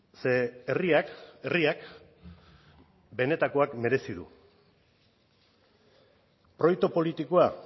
ze herriak herriak benetakoak merezi du proiektu politikoa